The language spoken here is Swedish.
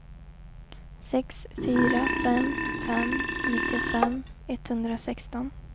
sex fyra fem fem nittiofem etthundrasexton